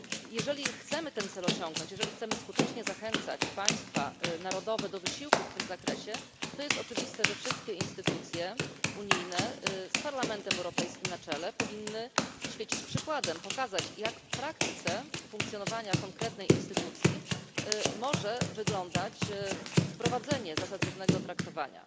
Jeżeli chcemy ten cel osiągnąć, jeżeli chcemy skutecznie zachęcać państwa narodowe do wysiłku w tym zakresie, to jest oczywiste, że wszystkie instytucje unijne z Parlamentem Europejskim na czele powinny świecić przykładem, pokazać, jak w praktyce funkcjonowania konkretnej instytucji może wyglądać wprowadzenie zasad równego traktowania.